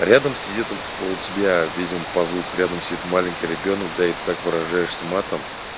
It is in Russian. рядом сидит у тебя видимо по звуку рядом сидит маленький ребёнок да и так выражаешься матом